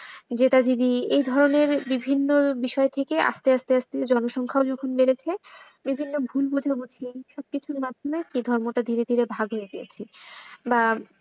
জেদাজেদি এই ধরনের বিভিন্ন বিষয় থেকে আস্তে আস্তে আস্তে জনসংখ্যাও যখন বেড়েছে, বিভিন্ন ভুল বোঝাবুঝি সব কিছুর মাধ্যমে এই ধর্মটা ধীরে ধীরে ভাগ হয়ে গিয়েছে বা,